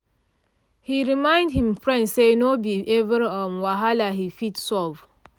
he remind him friend say no be every um whahala him fit solve